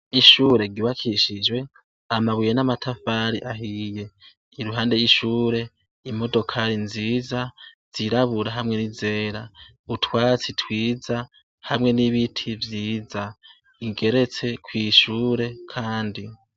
Ishure ry'ubakishijwe amabuye namatafari ahiye iruhande ishure imodokari nziza zirabura hamwe nizera utwatsi twiza hamwe nibiti vyiza ingeretse kw'ishure kandi.